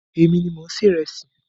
Èmi ni mò ń se ìresì.